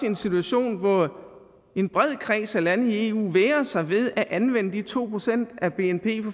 en situation hvor en bred kreds af lande i eu vægrer sig ved at anvende de to procent af bnp